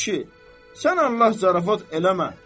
A kişi, sən Allah zarafat eləmə.